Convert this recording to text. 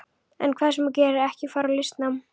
En hvað sem þú gerir, ekki fara í listnám.